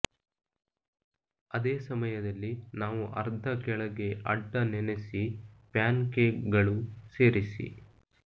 ಅದೇ ಸಮಯದಲ್ಲಿ ನಾವು ಅರ್ಧ ಕೆಳಗೆ ಅಡ್ಡ ನೆನೆಸಿ ಪ್ಯಾನ್ಕೇಕ್ಗಳು ಸೇರಿಸಿ